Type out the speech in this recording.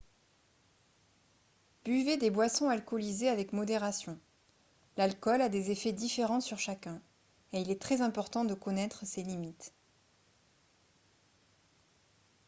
buvez des boissons alcoolisées avec modération l'alcool a des effets différents sur chacun et il est très important de connaître ses limites